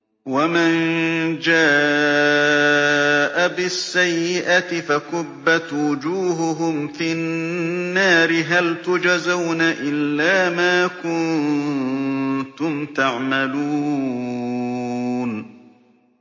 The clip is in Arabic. وَمَن جَاءَ بِالسَّيِّئَةِ فَكُبَّتْ وُجُوهُهُمْ فِي النَّارِ هَلْ تُجْزَوْنَ إِلَّا مَا كُنتُمْ تَعْمَلُونَ